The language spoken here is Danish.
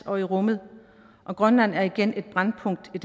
og i rummet og grønland er igen et brændpunkt i